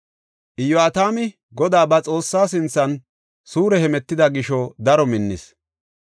Iyo7atami Godaa ba Xoossaa sinthan suure hemetida gisho daro minnis.